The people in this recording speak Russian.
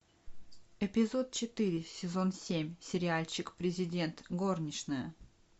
эпизод четыре сезон семь сериальчик президент горничная